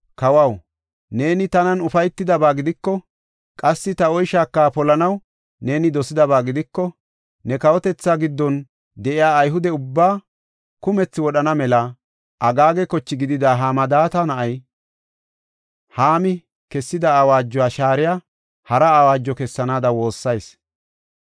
“Kawaw, neeni tanan ufaytidaba gidiko, qassi ta oyshaaka polanaw neeni dosidaba gidiko, ne kawotethaa giddon de7iya Ayhude ubbaa kumethi wodhana mela, Agaaga koche gidida Hamadaata na7ay Haami kessida awaajuwa shaariya hara awaajo kessanaada woossayis.